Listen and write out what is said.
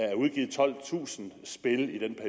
er udgivet tolvtusind spil i den